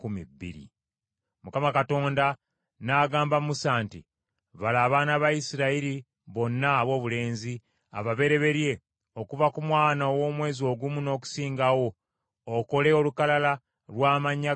Mukama Katonda n’agamba Musa nti, “Bala abaana ba Isirayiri bonna aboobulenzi ababereberye okuva ku mwana ow’omwezi ogumu n’okusingawo okole olukalala lw’amannya gaabwe gonna.